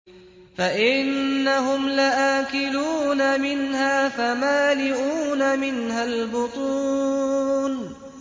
فَإِنَّهُمْ لَآكِلُونَ مِنْهَا فَمَالِئُونَ مِنْهَا الْبُطُونَ